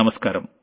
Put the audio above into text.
నమస్కారం